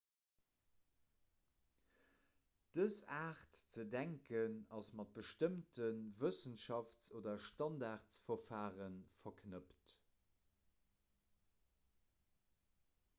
dës aart ze denken ass mat bestëmmte wëssenschafts oder standardverfare verknëppt